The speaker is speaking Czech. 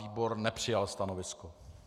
Výbor nepřijal stanovisko.